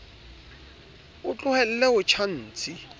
o tlohelle ho tjha ntshi